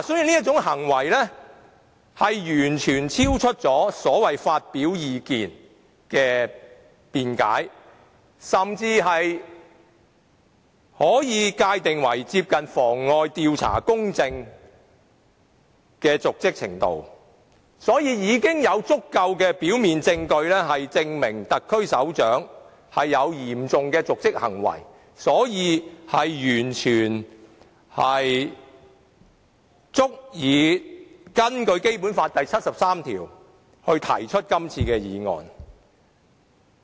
這種行為完全超出了所謂發表意見的辯解，甚至可以界定為接近妨礙調查公正的瀆職行為，因此，現時已有足夠的表面證據證明特區首長有嚴重的瀆職行為，完全足以根據《基本法》第七十三條提出這項議案。